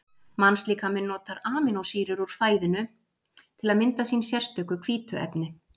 Mannslíkaminn notar amínósýrur úr fæðinu til að mynda sín sérstöku hvítuefni.